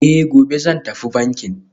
Eh, gobe zan tafi banki